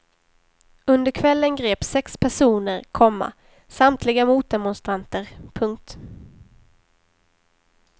Under kvällen greps sex personer, komma samtliga motdemonstranter. punkt